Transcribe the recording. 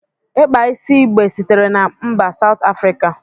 Ịkpa isi igbe sitere na mba Sout Afrika.